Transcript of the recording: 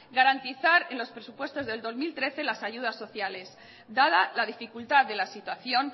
garantizar en los presupuestos del dos mil trece las ayudas sociales dada la dificultad de la situación